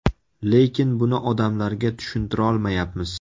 Lekin buni odamlarga tushuntirolmayapmiz.